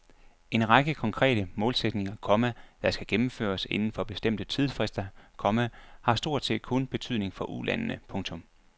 En række konkrete målsætninger, komma der skal gennemføres inden for bestemte tidsfrister, komma har stort set kun betydning for Ulandene. punktum